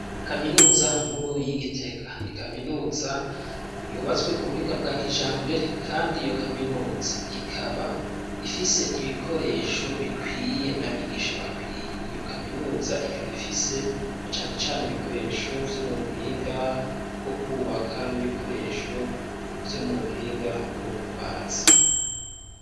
Kaminuza nkuru y'i Gitega ni kaminuza yubatswe ku buhinga bwa kijambere kandi iyo kaminuza ikaba ifise ibikoresho bikwiye n'abigisha bakwiye, iyo kaminuza ikaba ifise na cane cane ibikoresho vyo mubuhinga bwo kwubaka n'ibikoresho vyo mubuhinga bwo kubaza.